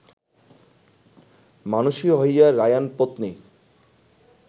মানুষী হইয়া রায়াণপত্নী